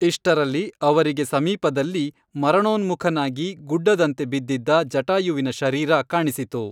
ಇಷ್ಟರಲ್ಲಿ ಅವರಿಗೆ ಸಮೀಪದಲ್ಲಿ ಮರಣೋನ್ಮುಖನಾಗಿ ಗುಡ್ಡದಂತೆ ಬಿದ್ದಿದ್ದ ಜಟಾಯುವಿನ ಶರೀರ ಕಾಣಿಸಿತು